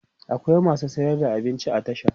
akwai masu sayar da abinci a tasha